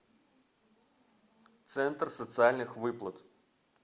центр социальных выплат